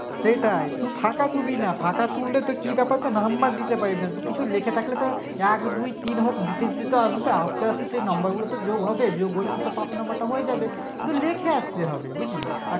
সেটাই শুধু ফাঁকা থুবি না ফাঁকা থুলে তো কি ব্যাপার তো Number দিতে পারি না তো কিছু লেখা থাকলে তো এক দুই তিন হোক দিতে অন্তত হবে তো আস্তে আস্তে তো সেই number গুলো যোগ হবে যোগ হলে তো পাশ number টা হয়ে যাবে কিন্তু লিখে আসতে হবে বুঝলি আর